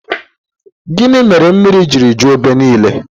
Gịnị mèrè mmiri ji ju ébé ńiilé?